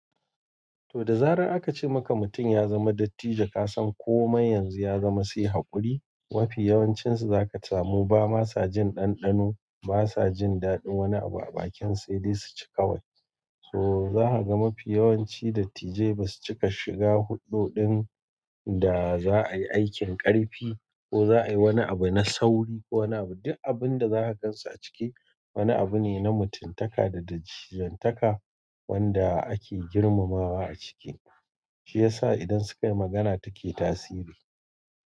To da zarar aka ce maka mutum ya zama dattijo, ka san komai yanzu ya zama sai haƙuri. Mafi yawancinsu za ka samu ba ma sa jin ɗanɗano, ba sa jin daɗin wani abu a bakin, sai dai su ci kawai. To za ka ga mafi yawanci dattijai ba su cika shiga huɗɗo ɗin da za a yi aikin ƙarfi ko za a yi wani abu na sauri ko wani abu. Duk abin da za ka gan su a ciki, wani abu ne na mutuntaka da dattijantaka wanda ake girmamawa a ciki. Shi ya sa idan suka yi magana take tasiri.